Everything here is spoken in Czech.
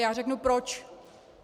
Já řeknu proč.